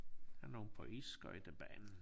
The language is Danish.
Her nogle på isskøjtebanen